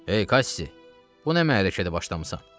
Ey Kassi, bu nə mərrəkədə başlamısan?